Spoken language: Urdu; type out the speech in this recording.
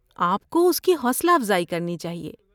آپ کو اس کی حوصلہ افزائی کرنی چاہیے۔